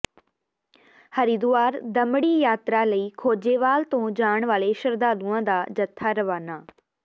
ਹਰਿਦੁਆਰ ਦਮੜੀ ਯਾਤਰਾ ਲਈ ਖੋਜੇਵਾਲ ਤੋਂ ਜਾਣ ਵਾਲੇ ਸ਼ਰਧਾਲੂਆਂ ਦਾ ਜੱਥਾ ਰਵਾਨਾ